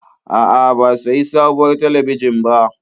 A'a, ba sayi sabuwar talabijin ba.